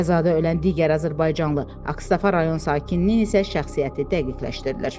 Qəzada ölən digər azərbaycanlı Ağstafa rayon sakininin isə şəxsiyyəti dəqiqləşdirilir.